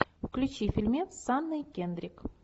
включи фильмец с анной кендрик